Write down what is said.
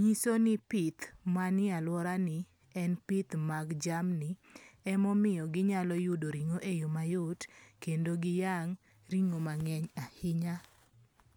nyiso ni pith manie aluora ni en pith mag jamni, e momiyo ginyalo yudo ring'o e yo mayot kendo giyang' ring'o mang'eny ahinya.